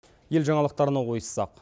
ел жаңалықтарына ойыссақ